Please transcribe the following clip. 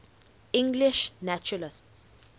english naturalists